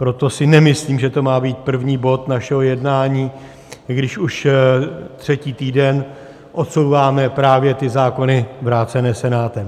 Proto si nemyslím, že to má být první bod našeho jednání, když už třetí týden odsouváme právě ty zákony vrácené Senátem.